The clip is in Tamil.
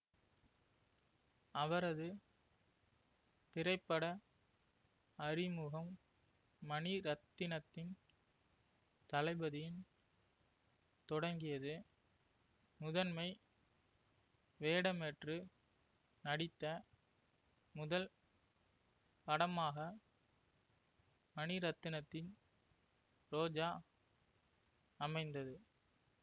அவரது திரைப்பட அறிமுகம் மணிரத்தினத்தின் தளபதியின் தொடங்கியது முதன்மை வேடமேற்று நடித்த முதல் படமாக மணிரத்தினத்தின் ரோஜா அமைந்தது